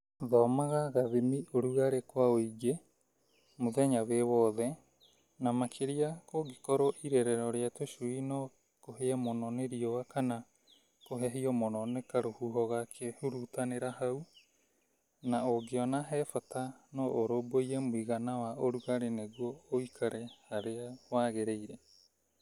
Thomaga gathimi-ũrugarĩ kwa ũingĩ mũthenya wĩ wothe ,na makĩria kũngĩkorwo irerero rĩa tũcui no kũhĩe mũno nĩ riũa kana kũhehio mũno nĩ karũhuho gakĩhurutanĩra hau, na ũngĩona he bata no ũrũmbũiye mũigana wa ũrugarĩ nĩguo ũikare harĩa wagĩrĩire.